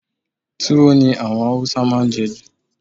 Tuwo ni àwọn Haúsá máa ń je jù.